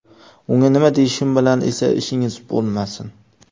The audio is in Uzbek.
Unga nima deyishim bilan esa ishingiz bo‘lmasin.